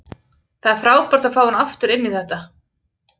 Það er frábært að fá hann aftur inn í þetta.